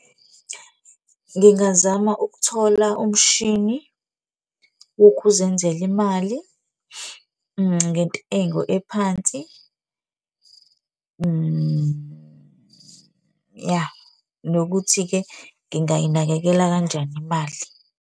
Ngingazama ukuthola umshini wokuzenzela imali ngentengo ephansi, ya. Nokuthi-ke ngingayinakekela kanjani imali.